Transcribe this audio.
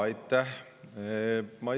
Aitäh!